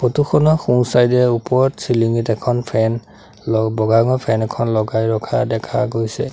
Photo খন সোঁ side এ ওপৰত চিলিংঙিত এখন ফেন ল বগা ৰঙৰ ফেন এখন লগাই ৰখা দেখা গৈছে।